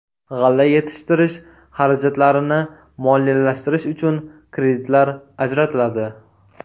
G‘alla yetishtirish xarajatlarini moliyalashtirish uchun kreditlar ajratiladi.